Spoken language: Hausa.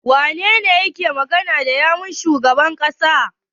Waye yake magana da yawun shugaban ƙasar?